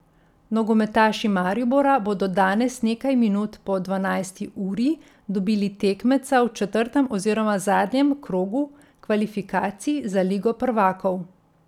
Nogometaši Maribora bodo danes nekaj minut po dvanajsti uri dobili tekmeca v četrtem oziroma zadnjem krogu kvalifikacij za ligo prvakov.